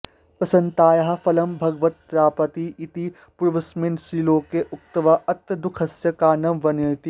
प्रसन्नतायाः फलं भगवत्प्राप्तिः इति पूर्वस्मिन् श्लोके उक्त्वा अत्र दुःखस्य कारणं वर्णयति